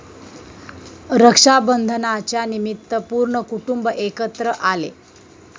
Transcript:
रक्षाबंधनाच्यानिमित्त पूर्ण कुटुंब एकत्र आले.